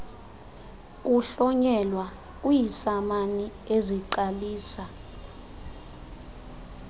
kuhlonyelwa kwiisamani eziqalisa